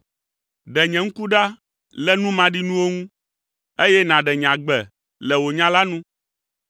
Ɖe nye ŋku ɖa le nu maɖinuwo ŋu, eye nàɖe nye agbe le wò nya la nu.